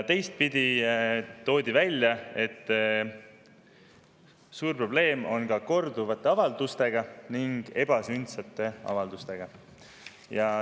Teistpidi toodi välja, et suur probleem on korduvate ning ebasündsate avaldustega.